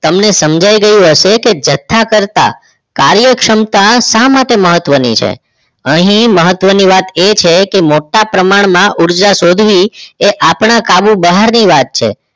તમને સમજાઈ ગયું હશે કે જથ્થા કરતા કાર્યક્ષમતા શા માટે મહત્વની છે અહીં મહત્વની વાત એ છે કે મોટા પ્રમાણમાં ઉર્જા શોધવી એ આપણા કાબુ બહારની વાત છે